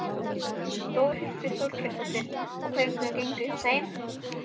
Þórhildur Þorkelsdóttir: Og hvernig gengur hjá þeim?